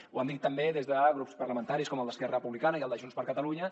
ho han dit també des de grups parlamentaris com el d’esquerra republicana i el de junts per catalunya